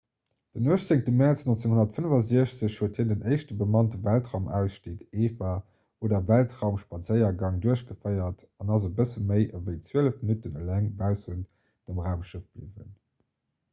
den 18. mäerz 1965 huet hien den éischte bemannte weltraumausstig eva oder weltraumspadséiergang duerchgeféiert an ass e bësse méi ewéi zwielef minutten eleng baussent dem raumschëff bliwwen